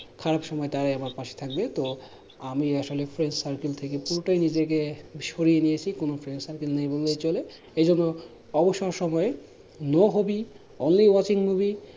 খারাপ সময় তারাই আমার পাশে থাকবে তো আমি আসলে friend circle থেকে পুরোটাই নিজেকে সরিয়ে নিয়েছি কোনো friend circle নেই বলেই চলে এইজন্য অবসর সময়ে no hobby only watching movie